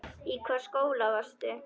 Í hvaða skóla varstu?